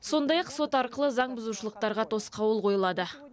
сондай ақ сот арқылы заңбұзушылықтарға тосқауыл қойылады